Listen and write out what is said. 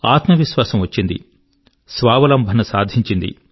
ఆత్మవిశ్వాసం వచ్చిది స్వావలంబన సాధింఛింది